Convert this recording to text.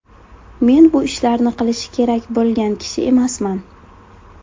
Men bu ishlarni qilishi kerak bo‘lgan kishi emasman.